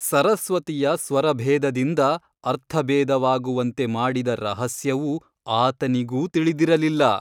ಸರಸ್ವತಿಯ ಸ್ವರಭೇದದಿಂದ ಅರ್ಥಭೇದವಾಗುವಂತೆ ಮಾಡಿದ ರಹಸ್ಯವು ಆತನಿಗೂ ತಿಳಿದಿರಲಿಲ್ಲ.